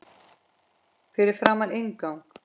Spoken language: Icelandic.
Fyrir framan inngang